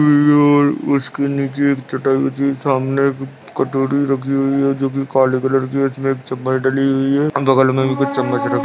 हम और उसके नीचे एक चटाई बिछी हुई सामने एक कटोरी रखी हुई है जोकि काले कलर की उसमे एक चम्मच डली हुई है और बगल में भी कुछ चम्मच रखी--